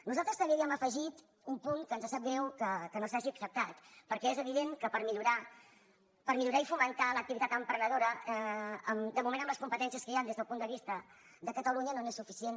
nosaltres també havíem afegit un punt que ens sap greu que no s’hagi acceptat perquè és evident que per millorar i fomentar l’activitat emprenedora de moment amb les competències que hi han des del punt de vista de catalunya no és suficient